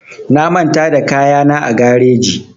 Na manta da kayana a gareji